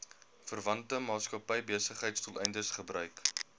verwante maatskappybesigheidsdoeleindes gebruik